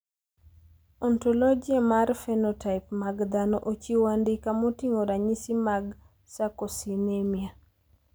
Ontologia mar phenotype mag dhano ochiwo andika moting`o ranyisi mag Sarcosinemia.